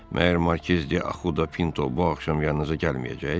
Məyər Markiz de Axudo Pinto bu axşam yanınıza gəlməyəcək?